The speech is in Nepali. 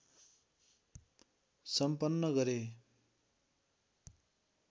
सम्पन्न गरे।